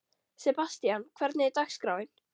Sebastian, hvernig er dagskráin?